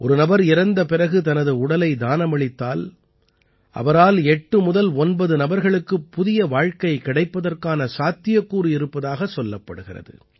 ஒரு நபர் இறந்த பிறகு தனது உடலை தானமளித்தால் அவரால் 8 முதல் 9 நபர்களுக்கு புதிய ஒரு வாழ்க்கை கிடைப்பதற்கான சாத்தியக்கூறு இருப்பதாகச் சொல்லப்படுகிறது